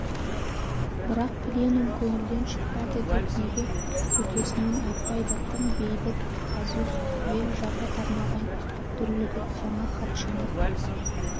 бірақ пленум көңілден шықпады деп неге төтесінен айтпайды тым бейбіт азусыз ел жапа-тармағай дүрлігіп жаңа хатшыны